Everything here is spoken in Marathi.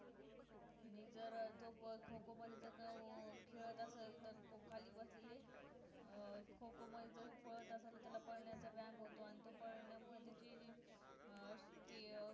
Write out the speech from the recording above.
आणि जर जो खो-खो मध्ये जो खेळत असेल जर का तर खाली बसलेले अं खो खो मध्ये जर पळत असेल तर त्याला पळण्याचा व्यायाम होतो आणि तो पाळण्या मुले त्याची अं ते अं